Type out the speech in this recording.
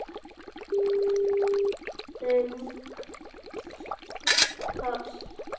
Þungt pass.